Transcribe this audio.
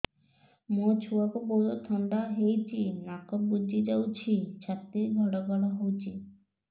ମୋ ଛୁଆକୁ ବହୁତ ଥଣ୍ଡା ହେଇଚି ନାକ ବୁଜି ଯାଉଛି ଛାତି ଘଡ ଘଡ ହଉଚି